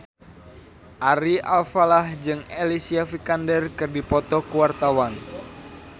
Ari Alfalah jeung Alicia Vikander keur dipoto ku wartawan